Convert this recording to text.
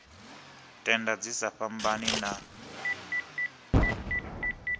tenda dzi sa fhambani na